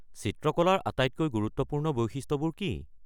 চিত্ৰকলাৰ আটাইতকৈ গুৰুত্বপূৰ্ণ বৈশিষ্ট্যবোৰ কি?